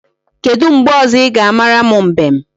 Kedu mgbe ọzọ ị ga-amara m mbem?